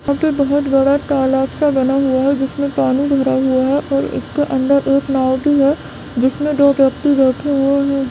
यहां पे बहुत बड़ा तालाब सा बना हुआ है जिसमे पानी भरा हुआ है और इसके अंदर एक नाव भी है जिसमे दो व्यक्ति बैठे हुए हैं।